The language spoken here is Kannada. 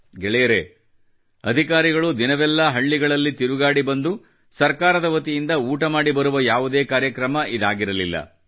ಗೆಳೆಯರೇ ಅಧಿಕಾರಿಗಳು ದಿನವೆಲ್ಲ ಹಳ್ಳಿಗಳಲ್ಲಿ ತಿರುಗಾಡಿ ಬಂದು ಸರ್ಕಾರದ ವತಿಯಿಂದ ಊಟಮಾಡಿ ಬರುವ ಯಾವುದೇ ಕಾರ್ಯಕ್ರಮ ಇದಾಗಿರಲಿಲ್ಲ